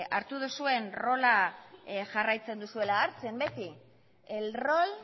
hartu duzuen rola jarraitzen duzuela hartzen beti el rol